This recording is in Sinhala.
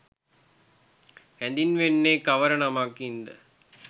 හැඳින්වෙන්නේ කවර නමකින් ද?